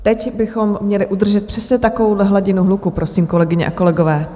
Teď bychom měli udržet přesně takovouhle hladinu hluku, prosím, kolegyně a kolegové.